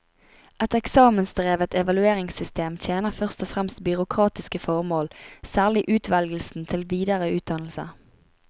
Et eksamensdrevet evalueringssystem tjener først og fremst byråkratiske formål, særlig utvelgelse til videre utdannelse.